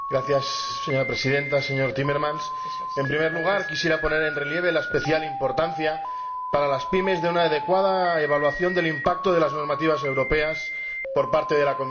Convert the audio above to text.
Señora Presidenta, señor Timmermans, en primer lugar quisiera poner en relieve la especial importancia para las pymes de una adecuada evaluación del impacto de las normativas europeas por parte de la Comisión.